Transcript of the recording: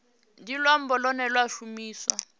ndi luambo lune lwa shumiswa